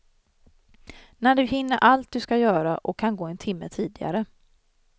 När du hinner allt du ska göra, och kan gå en timme tidigare.